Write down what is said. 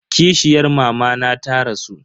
Kishiyar mamana ta rasu.